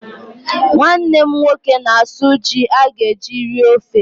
Nwanne m nwoke na-asụ ji a ga-eji rie ofe.